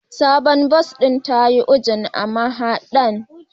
Sabuwar bas ɗin ta yi U-Jun a mahadar